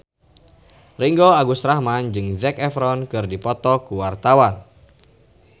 Ringgo Agus Rahman jeung Zac Efron keur dipoto ku wartawan